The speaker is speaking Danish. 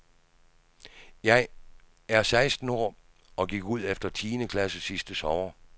Jeg er seksten år og gik ud efter tiende klasse sidste sommer.